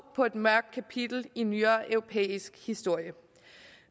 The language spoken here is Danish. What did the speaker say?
på et mørkt kapitel i nyere europæisk historie